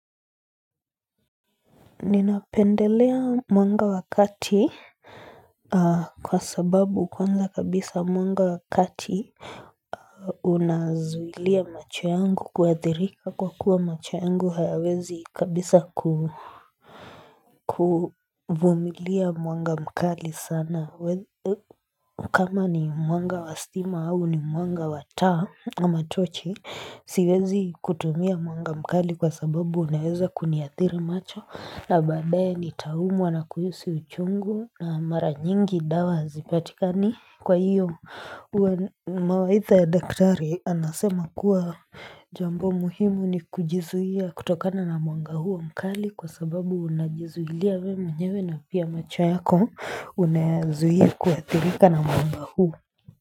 Ninapendelea mwanga wa kati kwa sababu kwanza kabisa mwanga wa kati unazuilia macho yangu kuathirika kwa kuwa macho yangu hayawezi kabisa kuvumilia mwanga mkali sana. Na kama ni mwanga wa stima au ni mwanga wa taa ama tochi siwezi kutumia mwanga mkali kwa sababu unaweza kuniathiri macho na baadae nitaumwa na kuhisi uchungu na mara nyingi dawa hazipatikani Kwa hiyo mawaidha ya daktari anasema kuwa jambo muhimu ni kujizuia kutokana na mwanga huo mkali kwa sababu unajizuilia wewe mwenyewe na pia macho yako unayazuia kuathirika na mwamba huu.